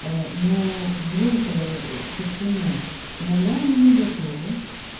ну врём то почему иногда они не готовы